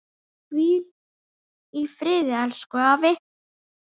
Hvíl í friði, elsku afi.